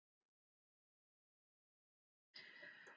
Hann vill leggja undir sig landið.